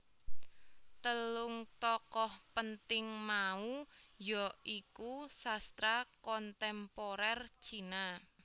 Telung tokoh penting mau ya iku Sastra Kontemporer Cina